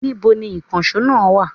Níbo ni ìkànsó náà wa?